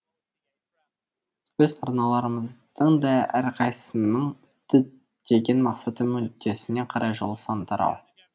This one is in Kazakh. өз арналарымыздың да әрқайсысының діттеген мақсаты мүддесіне қарай жол сан тарау